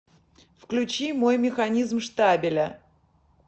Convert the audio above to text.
включи мой механизм штабеля